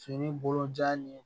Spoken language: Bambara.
Fini bolojan ye